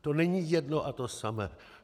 To není jedno a to samé.